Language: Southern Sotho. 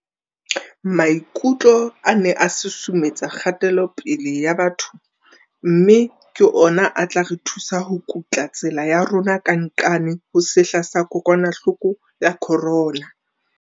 Maikutlo a ne a susumetse kgatelopele ya batho mme ke ona a tla re thusa ho kutla tsela ya rona ka nqane ho sehla sa kokwanahloko ya corona.